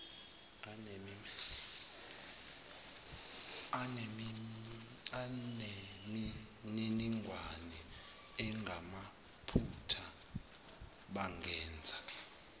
anemininingwane engamaphutha bangenza